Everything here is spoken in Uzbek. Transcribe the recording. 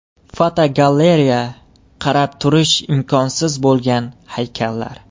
Fotogalereya: Qarab turish imkonsiz bo‘lgan haykallar.